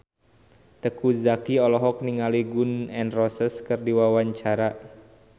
Teuku Zacky olohok ningali Gun N Roses keur diwawancara